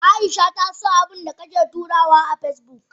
Aisha ta so abundakake turawa a Facebook?